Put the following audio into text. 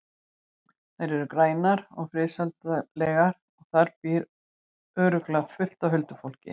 Þær eru grænar og friðsældarlegar og þar býr örugglega fullt af huldufólki.